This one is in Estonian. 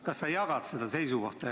Kas sa jagad seda seisukohta?